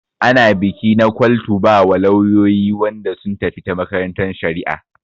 Ana biki na kwal to wa lauyoyi Wanda sun tafi ta makarantan shari'a.